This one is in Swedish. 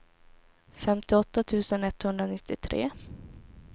femtioåtta tusen etthundranittiotre